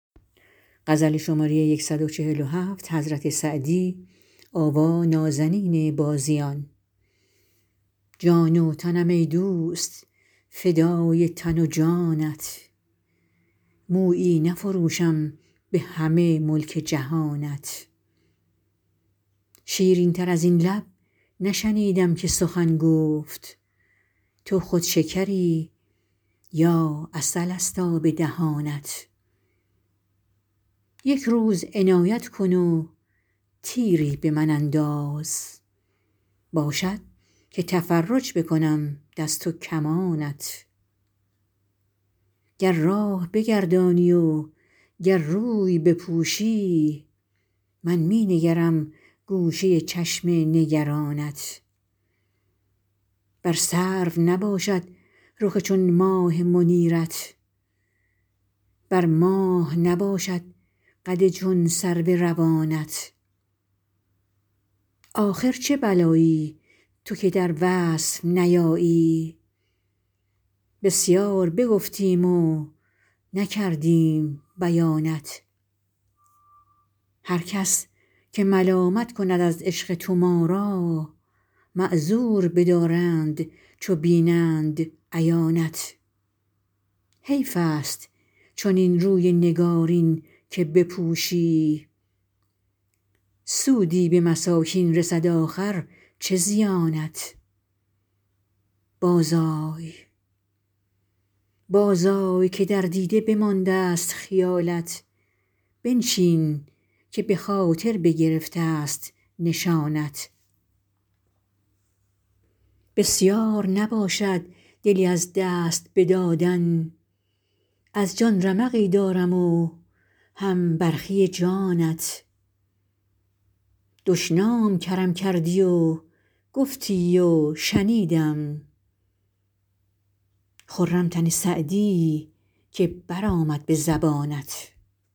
جان و تنم ای دوست فدای تن و جانت مویی نفروشم به همه ملک جهانت شیرین تر از این لب نشنیدم که سخن گفت تو خود شکری یا عسل ست آب دهانت یک روز عنایت کن و تیری به من انداز باشد که تفرج بکنم دست و کمانت گر راه بگردانی و گر روی بپوشی من می نگرم گوشه چشم نگرانت بر سرو نباشد رخ چون ماه منیرت بر ماه نباشد قد چون سرو روانت آخر چه بلایی تو که در وصف نیایی بسیار بگفتیم و نکردیم بیانت هر کس که ملامت کند از عشق تو ما را معذور بدارند چو بینند عیانت حیف ست چنین روی نگارین که بپوشی سودی به مساکین رسد آخر چه زیانت بازآی که در دیده بماندست خیالت بنشین که به خاطر بگرفت ست نشانت بسیار نباشد دلی از دست بدادن از جان رمقی دارم و هم برخی جانت دشنام کرم کردی و گفتی و شنیدم خرم تن سعدی که برآمد به زبانت